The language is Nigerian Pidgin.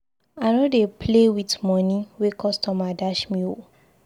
I no dey play with money wey customer dash me oo